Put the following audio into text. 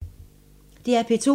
DR P2